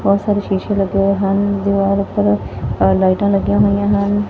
ਬਹੁਤ ਸਾਰੇ ਸ਼ੀਸ਼ੇ ਲੱਗੇ ਹੋਏ ਹਨ ਦੀਵਾਰ ਉੱਪਰ ਲਾਈਟਾਂ ਅ ਲੱਗੀਆਂ ਹੋਈਆਂ ਹਨ।